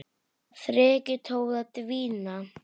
Þrekið tók að dvína.